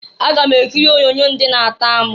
Aga m ekiri onyoonyo nke ndị na-atọ amụ.